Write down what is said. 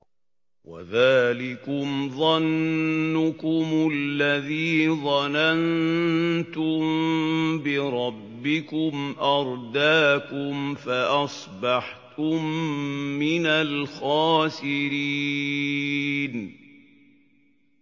وَذَٰلِكُمْ ظَنُّكُمُ الَّذِي ظَنَنتُم بِرَبِّكُمْ أَرْدَاكُمْ فَأَصْبَحْتُم مِّنَ الْخَاسِرِينَ